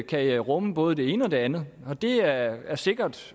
kan rumme både det ene og det andet og det er er sikkert